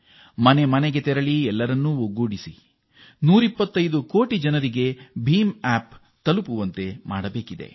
ನಾವು ಮನೆ ಬಾಗಿಲಿನಿಂದ ಮನೆ ಬಾಗಿಲಿಗೆ ಹೋಗಿ ಎಲ್ಲ 125 ಕೋಟಿ ಜನರ ಕೈಯಲ್ಲೂ ಬೀಮ್ ಆಪ್ ಇರುವಂತೆ ಮಾಡಬೇಕು